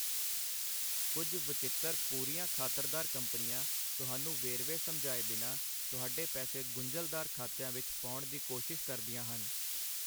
ਕੁੱਝ ਵਚਿੱਤਰ ਪੂੂਰੀਆਂ ਖ਼ਾਤਰਦਾਰ ਕੰਪਨੀਆਂ ਤੁਹਾਨੂੰ ਵੇਰਵੇ ਸਮਝਾਏ ਬਿਨਾਂ ਤੁਹਾਡੇ ਪੈਸੇ ਗੁੰਝਲਦਾਰ ਖਾਤਿਆਂ ਵਿੱਚ ਪਾਉਣ ਦੀ ਕੋਸ਼ਿਸ਼ ਕਰਦੀਆਂ ਹਨ।